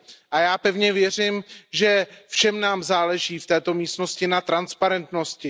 A já pevně věřím, že nám všem záleží v této místnosti na transparentnosti.